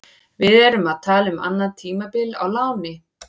Við erum að tala um annað tímabil á láni.